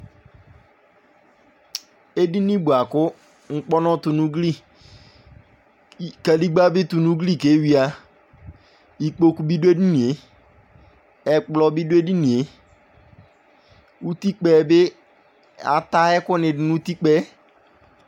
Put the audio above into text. Edini boa kʋ ŋkpɔnʋ tʋ nʋ ugli Kadigba bi tʋ nʋ ugli keyuia Ikpoku bi dʋ edini e, ɛkplɔ bi dʋ edini e Utikpa yɛ bi, ata ɛkʋ ni dʋ nʋ utikpa yɛ